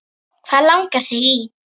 Hvað langar þig í!